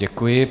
Děkuji.